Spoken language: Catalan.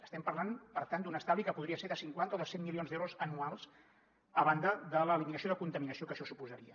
estem parlant per tant d’un estalvi que podria ser de cinquanta o de cent milions d’euros anuals a banda de l’eliminació de contaminació que això suposaria